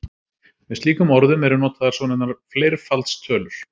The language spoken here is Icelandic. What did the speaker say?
Með slíkum orðum eru notaðar svonefndar fleirfaldstölur.